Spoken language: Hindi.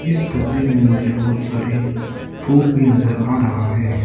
इस तस्वीर में मुझे बहुत सारे फूल भी नजर आ रहा है।